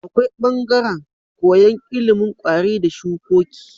Akwai bangaran koyan ilimin kwari da shukoki